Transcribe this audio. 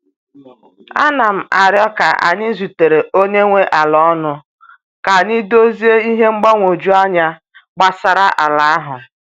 A na m aro ka anyị zutere onye nwe ala ọnụ ka anyị dozie ihe mgbagwoju anya gbasara ala ahụ.